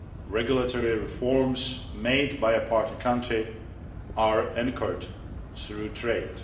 Regulatory reforms made by a partner country are encouraged through trade.